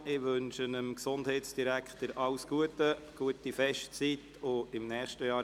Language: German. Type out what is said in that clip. Ich wünsche dem Gesundheitsdirektor alles Gute, eine schöne Festzeit, und bis im nächsten Jahr.